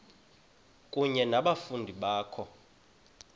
kunye nabafundi bakho